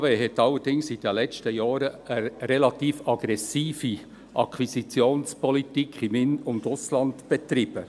Die BKW hat allerdings in den letzten Jahren eine relativ aggressive Akquisitionspolitik im In- und Ausland betrieben.